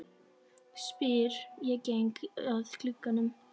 spyr ég og geng að glugganum.